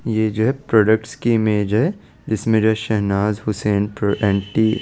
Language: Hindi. ये जो है प्रोडक्ट्स की इमेज है जीसमे शहनाज हुसैन प्र एंटी --